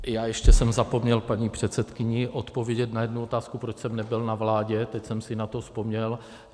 Já jsem ještě zapomněl paní předsedkyni odpovědět na jednu otázku, proč jsem nebyl na vládě, teď jsem si na to vzpomněl.